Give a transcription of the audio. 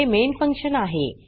हे main function आहे